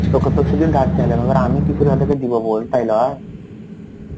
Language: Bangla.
তা তোকে তো সেদিন ধার চাইলাম. এবার আমি কি করে ওদেরকে দিবো বল, তাই না?